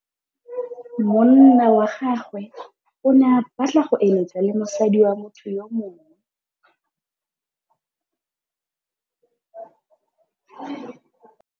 Monna wa gagwe o ne a batla go êlêtsa le mosadi wa motho yo mongwe.